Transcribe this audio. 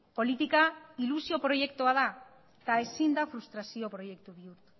politika ilusio proiektua da eta ezin da frustrazio proiektu bihurtu